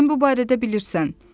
Sən bu barədə bilirsən.